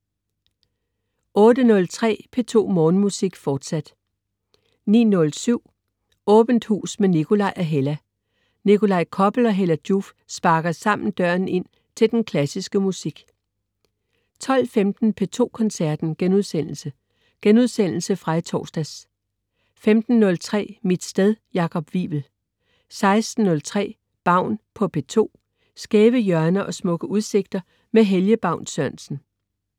08.03 P2 Morgenmusik, fortsat 09.07 Åbent Hus med Nikolaj og Hella. Nikolaj Koppel og Hella Joof sparker sammen døren ind til den klassiske musik 12.15 P2 Koncerten.* Genudsendelse fra i torsdags 15.03 Mit sted. Jakob Wivel 16.03 Baun på P2. Skæve hjørner og smukke udsigter med Helge Baun Sørensen